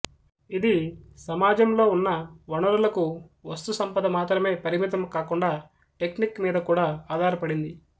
ఇది సమాజంలో ఉన్న వనరులకువస్తు సంపద మాత్రమే పరిమితం కాకుండా టెక్నిక్ మీద కూడా ఆధారపడింది